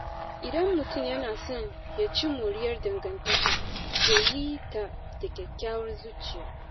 Idan mutum yana son ya ci moriyar dangantaka, ya yita da kyakkyawar zuciya.